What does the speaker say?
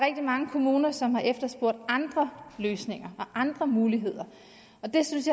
mange kommuner som har efterspurgt andre løsninger og andre muligheder og det synes